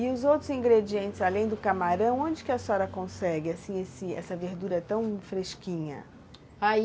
E os outros ingredientes, além do camarão, onde que a senhora consegue, assim, essa verdura tão fresquinha? Aí